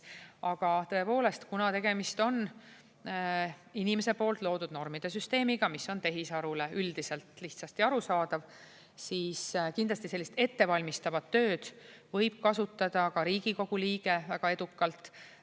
Aga tõepoolest, kuna tegemist on inimese poolt loodud normide süsteemiga, mis on tehisarule üldiselt lihtsasti arusaadav, siis kindlasti sellist ettevalmistavat tööd võib kasutada ka Riigikogu liige väga edukalt.